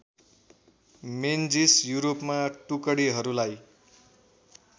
Menzies युरोपमा टुकडीहरूलाई